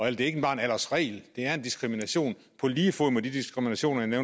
er ikke bare en aldersregel det er en diskrimination på lige fod med de diskriminationer jeg